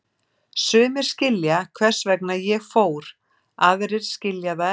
Sumir skilja hvers vegna ég fór, aðrir skilja það ekki.